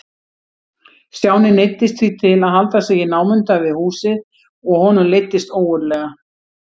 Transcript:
Stjáni neyddist því til að halda sig í námunda við húsið og honum leiddist ógurlega.